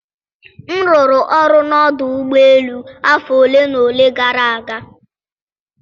m rụrụ ọrụ n'ọdụ ụgbọ elu afọ ole na ole gara aga